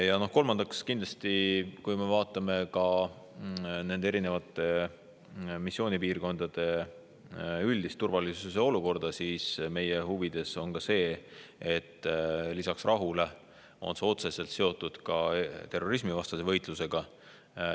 Ja kolmandaks, kindlasti, kui me vaatame nende erinevate missioonipiirkondade üldist turvalisuse olukorda, siis meie huvides on lisaks rahule otseselt ka terrorismivastases võitluses.